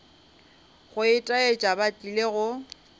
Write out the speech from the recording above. go itaetša ba tlile go